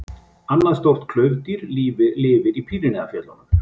Annað stórt klaufdýr lifir í Pýreneafjöllum.